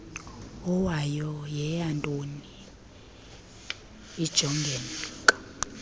owayo yeyantoni ijongeka